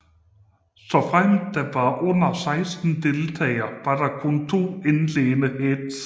Såfremt der var under 16 deltagere var der kun to indledende heats